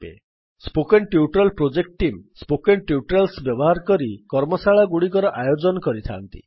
spoken tutorial project team spoken tutorials ବ୍ୟବହାର କରି କର୍ମଶାଳାଗୁଡ଼ିକର ଆୟୋଜନ କରିଥାନ୍ତି